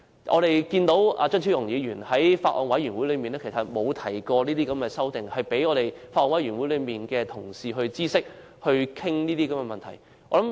我們看到張超雄議員並無在法案委員會提出這項修正案，讓法案委員會的同事知悉和討論這些問題。